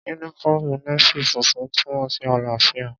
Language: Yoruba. Yúnífọ́ọ̀mù Nééfì funfun túnmọ̀ sí àlàáfíà